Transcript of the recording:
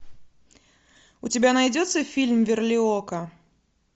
у тебя найдется фильм верлиока